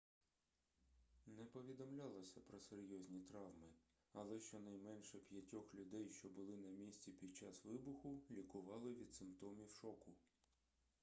не повідомлялося про серйозні травми але щонайменше п'ятьох людей що були на місці під час вибуху лікували від симптомів шоку